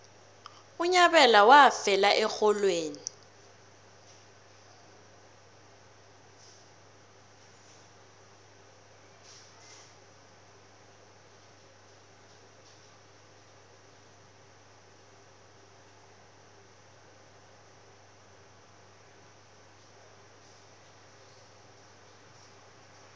unyabela wafela erholweni